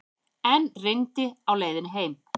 Enn rigndi á leiðinni heim.